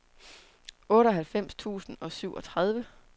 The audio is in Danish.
otteoghalvfems tusind og syvogtredive